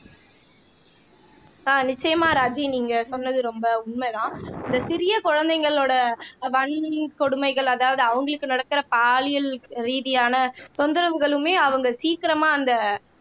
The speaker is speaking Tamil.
ஆஹ் நிச்சயமா ராஜி நீங்க சொன்னது ரொம்ப உண்மைதான் இந்த சிறிய குழந்தைங்களோட வன் கொடுமைகள் அதாவது அவங்களுக்கு நடக்கிற பாலியல் ரீதியான தொந்தரவுகளுமே அவங்க சீக்கிரமா அந்த